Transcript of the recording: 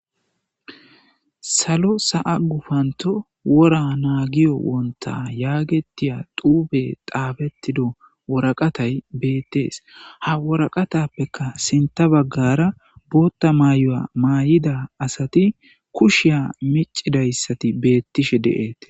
Salo sa,a gufanto wora naagiyo wonta yaagetiya duube daabettido woraqatay beettees ha woraqatappeka sinta baggara bootta mayo,a maay7ida asati kushiya micidayssati beettishe deeet.